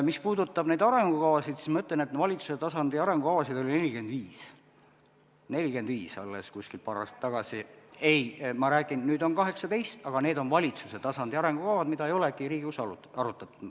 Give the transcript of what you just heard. Mis puudutab neid arengukavasid, siis ma ütlesin, et valitsuse tasandi arengukavasid oli paar aastat tagasi 45, nüüd on 18, aga need on valitsuse tasandi arengukavad, mida ei olegi Riigikogus arutatud.